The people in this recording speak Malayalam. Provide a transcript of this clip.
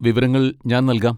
വിവരങ്ങൾ ഞാൻ നൽകാം.